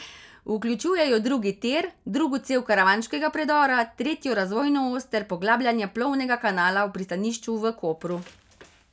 Vključujejo drugi tir, drugo cev karavanškega predora, tretjo razvojno os ter poglabljanje plovnega kanala v pristanišču v Kopru.